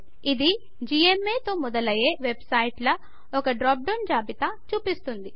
ఇది జిఎంఏ తో మొదలయ్యే వెబ్ సైట్ల ఒక డ్రాప్ డౌన్ జాబితా చూపిస్తుంది